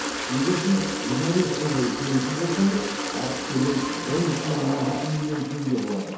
егер сіз жиырма бес жыл бойы төлейтін болсаңыз артық төлем он бүтін оннан жеті миллион теңге болады